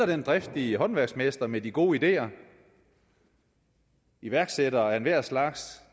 den driftige håndværksmester med de gode ideer iværksættere af enhver slags